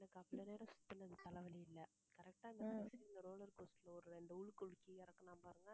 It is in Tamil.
எனக்கு, அவ்வளவு நேரம் சுத்துனது தலைவலி இல்லை correct ஆ roller coaster ல ஒரு ரெண்டு உலுக்கு உலுக்கி இறக்கனான் பாருங்க